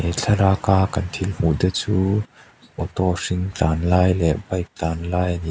thlalaka kan thil hmuh te chu auto hring tlan lai leh bike tlan lai ani a--